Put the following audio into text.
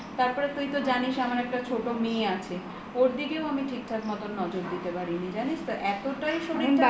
তারপর তুই তো জানিস আমার একটা ছোট মেয়ে আছে ওর দিকেও আমি ঠিক ঠাক মতো নজর দিতে পারি নি জানিস তো এতটাই শরীরটা